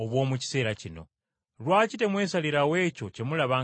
“Lwaki temwesalirawo ekyo kye mulaba nga kituufu?